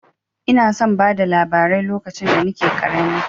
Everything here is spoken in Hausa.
Ina son bada labarai lokacin da nake ƙarami.